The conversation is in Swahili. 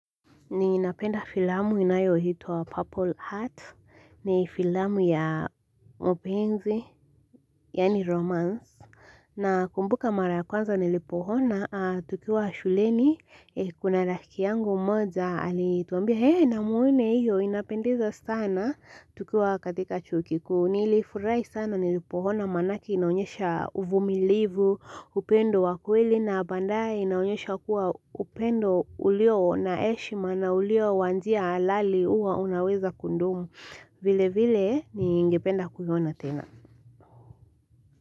Ninapenda filamu inayoitwa purple heart ni filamu ya mapenzi yani romance Nakumbuka mara ya kwanza nilipo ona tukiwa shuleni kuna rafiki yangu mmoja alituambia hee na muone hiyo inapendeza sana tukiwa katika chuo ki ku nilifurahi sana nilipoona maanake inaonyesha uvumilivu upendo wa kweli na baandae inaonyesha kuwa upendo ulio na heshima na ulio wa njia halali huwa unaweza kudumu vile vile ningependa kuiona tena.